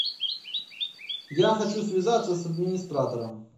я хочу связаться с администратором